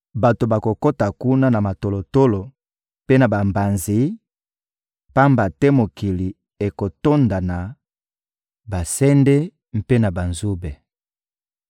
Bato bakokota kuna na matolotolo mpe na bambanzi, pamba te mokili ekotonda na basende mpe na banzube.